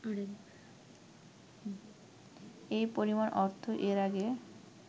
এ পরিমাণ অর্থ এর আগে